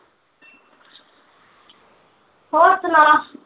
ਹੋਰ ਸੁਣਾ